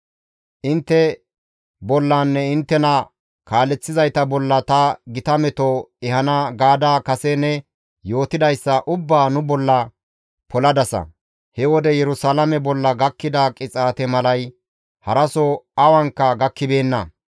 ‹Intte bollanne inttena kaaleththizayta bolla ta gita meto ehana› gaada kase ne yootidayssa ubbaa nu bolla poladasa; he wode Yerusalaame bolla gakkida qixaate malay haraso awanka gakkibeenna.